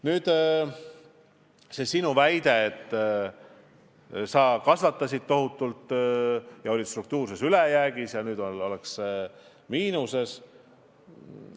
Nüüd sellest sinu väitest, et sa kasvatasid eelarvet tohutult ja oli struktuurne ülejääk, nüüd ollakse miinuses.